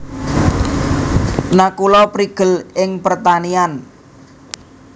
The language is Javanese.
Nakula prigel ing pertanian